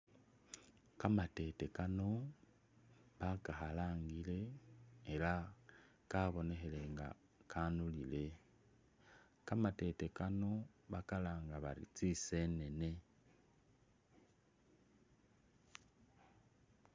Kamatete Kano bakakhalangile elah kabonekhile nga kanulile, kamatete Kano bakalanga bari tsisebene